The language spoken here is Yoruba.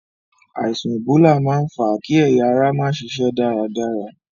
Àìsàn ẹ̀bólà máa ń fà á kí ẹ̀yà ara má ṣiṣẹ́ dáadáa.